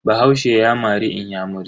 Bahaushe ya mari inyamura.